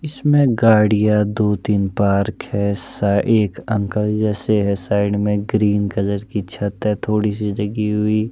इसमें गाड़िया दो तीन पार्क है ऐसा एक अंकल जैसे है साइड में ग्रीन कलर की छत है थोड़ी सी जगी हुई।